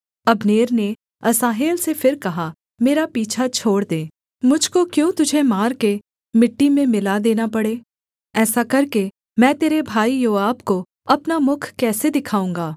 Abner ने Asahel से फिर कहा मेरा पीछा छोड़ दे मुझ को क्यों तुझे मारकर मिट्टी में मिला देना पड़े ऐसा करके मैं तेरे भाई योआब को अपना मुख कैसे दिखाऊँगा